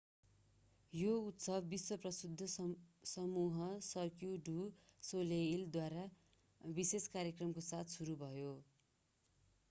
यो उत्सव विश्व-प्रसिद्ध समूह सर्क्यू डु सोलाईलद्वारा विशेष कार्यक्रमको साथ सुरु भयो